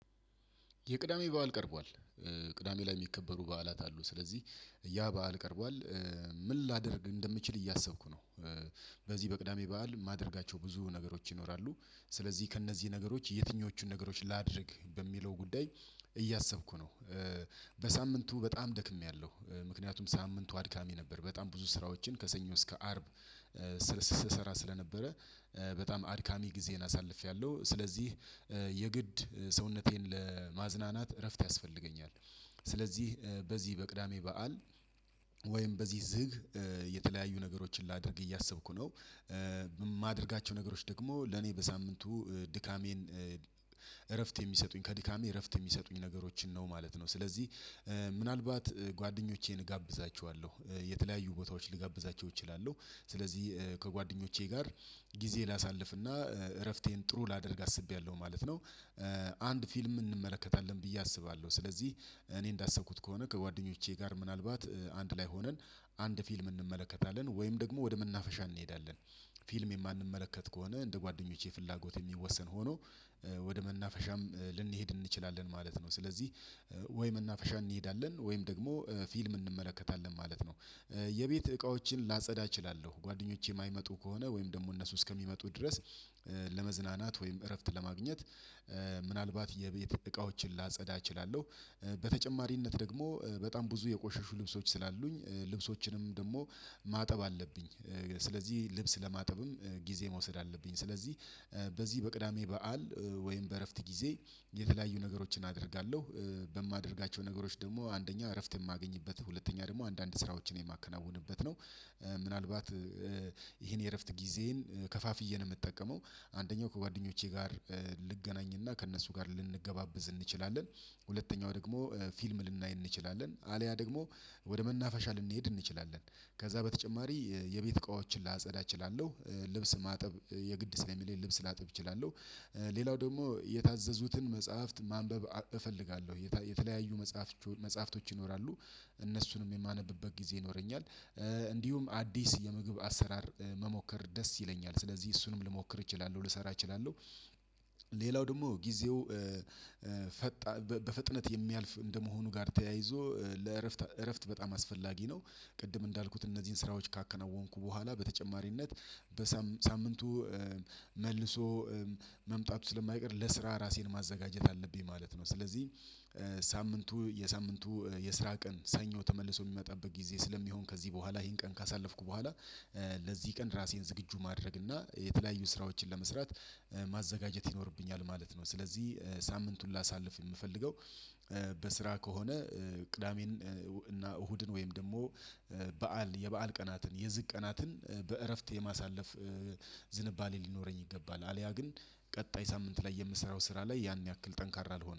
የቅዳሜ በዓል ቀርቧል ቅዳሜ ላይ የሚከበሩ በዓላት አሉ ስለዚህ ያ በዓል ቀርቧል ምን ላደርግ እንደምችል እያሰብኩ ነው በዚህ በቅዳሜ በዓል ማደርጋቸው ብዙ ነገሮች ይኖራሉ ስለዚህ ከእነዚህ ነገሮች የትኞቹን ነገሮች ላድርግ በሚለው ጉዳይ እያሰብኩ ነው በሳምንቱ በጣም ደክሜያለሁ ምክንያቱም ሳምንቱ አድካሚ ነበር በጣም ብዙ ስራዎችን ከሰኞ እስከ አርብ ስስሰራ ስለነበረ በጣም አድካሚ ጊዜን አሳልፌያለሁ ስለዚህ የግድ ሰውነቴን ለማዝናናት እረፍት ያስፈልገኛል ስለዚህ በዚህ በቅዳሜ በዓል ወይም በዚህ ዝግ የተለያዩ ነገሮችን ላድርግ እያሰብኩ ነው የማደርጋቸው ነገሮች ደግሞ ለኔ በሳምንቱ ድካሜን እረፍት የሚሰጡኝ ከድካሜ እረፍት የሚሰጡኝ ነገሮችን ነው ማለት ነው ስለዚህ ምናልባት ጓደኞቼን እጋብዛቸዋለሁ የተለያዩ ቦታዎች ልጋብዛቸው እችላለሁ ስለዚህ ከጓደኞቼ ጋር ጊዜ ላሳልፍና እረፍቴን ጥሩ ላደርግ አስቤያለሁ ማለት ነው አንድ ፊልም እንመለከታለን ብዬ አስባለሁ ስለዚህ እኔ እንዳሰብኩት ከሆነ ከጓደኞቼ ጋር ምናልባት አንድ ላይ ሆነን አንድ ፊልም እንመለከታለን ወይም ደግሞ ወደ መናፈሻ እንሄዳለን ፊልም የማንመለከት ከሆነ፣ እንደ ጓደኞቼ ፍላጎት የሚወሰን ሆኖ ወደ መናፈሻም ልንሄድ እንችላለን ማለት ነው፤ ስለዚህ ወይ መናፈሻ እንሄዳለን፣ ወይም ደግሞ ፊልም እንመለከታለን ማለት ነው። የቤት እቃዎችን ላጸዳ እችላለሁ—ጓደኞቼ የማይመጡ ከሆነ፣ ወይም ደግሞ እነሱ እስከሚመጡ ድረስ ለመዝናናት ወይም እረፍት ለማግኘት ምናልባት የቤት እቃዎችን ላጸዳ እችላለሁ፤ በተጨማሪነት ደግሞ በጣም ብዙ የቆሸሹ ልብሶች ስላሉኝ፣ ልብሶችንም ደግሞ ማጠብ አለብኝ ስለዚህ ልብስ ለማጠብም ጊዜ መውሰድ አለብኝ፤ ስለዚህ በዚህ በቅዳሜ በዓል ወይም በእረፍት ጊዜ የተለያዩ ነገሮችን አደርጋለሁ። በማደርጋቸው ነገሮች ደግሞ፦ አንደኛ—እረፍት የማገኝበት፣ ሁለተኛ ደግሞ—አንዳንድ ስራዎችን የማከናውንበት ነው። ምናልባት ይሄን የእረፍት ጊዜዬን ከፋፍዬ ነው የምጠቀመው፤ አንደኛው—ከጓደኞቼ ጋር ልገናኝና ከእነሱ ጋር ልንገባበዝ እንችላለን፤ ሁለተኛው ደግሞ—ፊልም ልናይ እንችላለን፣ አልያ ደግሞ ወደ መናፈሻ ልንሄድ እንችላለን። ከዛ በተጨማሪ፣ የቤት እቃዎችን ላጸዳ እችላለሁ፤ ልብስ ማጠብ የግድ ስለሚለኝ፣ ልብስ ላጥብ እችላለሁ ሌላው ደግሞ፣ የታዘዙትን መጽሐፍት ማንበብ እፈልጋለሁ—የተለያዩ መጽሐፍች መጽሐፍቶች ይኖራሉ፣ እነሱንም የማነብበት ጊዜ ይኖረኛል፤ እንዲሁም አዲስ የምግብ አሰራር መሞከር ደስ ይለኛል፣ ስለዚህ እሱንም ልሞክር እችላለሁ ልሰራ እችላለሁ ሌላው ደግሞ ጊዜው ፈጣ በፍጥነት የሚያልፍ እንደመሆኑ ጋር ተያይዞ፣ ለእረፍት እረፍት በጣም አስፈላጊ ነው፤ ቅድም እንዳልኩት እነዚህን ስራዎች ካከናወንኩ በኋላ፣ በተጨማሪነት በሳምንቱ መልሶ መምጣቱ ስለማይቀር፣ ለስራ ራሴን ማዘጋጀት አለብኝ ማለት ነው፤ ስለዚህ ሳምንቱ የሳምንቱ የስራ ቀን ሰኞ ተመልሶ የሚመጣበት ጊዜ ስለሚሆን፣ ከዚህ በኋላ ይሄን ቀን ካሳለፍኩ በኋላ ለዚህ ቀን ራሴን ዝግጁ ማድረግ እና የተለያዩ ስራዎችን ለመስራት ማዘጋጀት ይኖርብኛል ማለት ነው፤ ስለዚህ ሳምንቱን ላሳልፍ የምፈልገው በስራ ከሆነ ቅዳሜን እና እሁድን ወይም ደግሞ በዓል የበአል ቀናትን፣ የዝግ ቀናትን በእረፍት የማሳለፍ ዝንባሌ ሊኖረኝ ይገባል፤ አልያ ግን ቀጣይ ሳምንት ላይ የምሰራው ስራ ላይ ያን ያህል ጠንካራ አልሆንም።